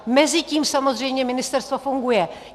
Mezitím samozřejmě ministerstvo funguje.